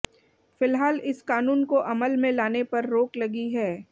फिल्हाल इस क़ानून को अमल में लाने पर रोक लगी है